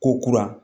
Ko kura